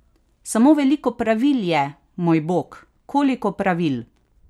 Samo veliko pravil je, moj Bog, koliko pravil!